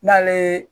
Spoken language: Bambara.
N'ale